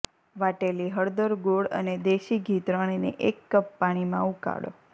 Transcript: વાટેલી હળદર ગોળ અને દેશી ઘી ત્રણેને એક કપ પાણીમાં ઉકાળો